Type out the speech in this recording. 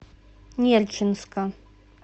нерчинска